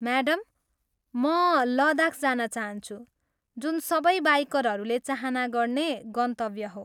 Madam, म लद्दाख जान चाहन्छु, जुन सबै बाइकरहरूले चाहना गर्ने गन्तव्य हो।